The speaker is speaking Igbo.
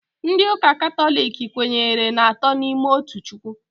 Ndị ụka katọlik kwenyere n'atọ n'ime otu Chukwu